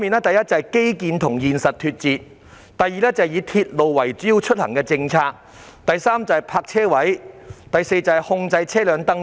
第一，基建與現實脫節；第二，以鐵路為主要出行方式的政策；第三，泊車位；第四，控制車輛登記。